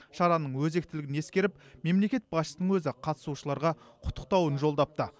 шараның өзектілігін ескеріп мемлекет басшысының өзі қатысушыларға құттықтауын жолдапты